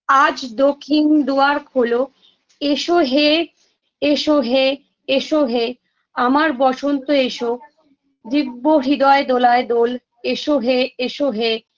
আজ দখিন ‌‌দোয়ার খোলো এসো হে এসো হে এসো হে আমার বসন্ত এসো দিব্য হৃদয় দোলায় দোল এসো হে এসো হে‌